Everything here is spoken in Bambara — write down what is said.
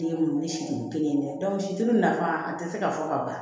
Den wele siden kelen tɛ situru nafa a tɛ se ka fɔ ka ban